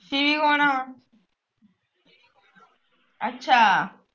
ਸ਼ਿਵੀ ਕੌਣ ਆ